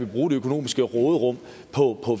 bruge det økonomiske råderum på